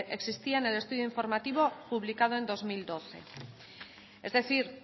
existía en el estudio informativo publicado en dos mil doce es decir